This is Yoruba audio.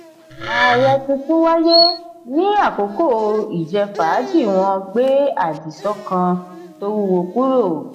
ààrẹ tuntun wáyé ní àkókò ìjẹ-fàájì wọn gbé adíso kan tó wúwo kúrò.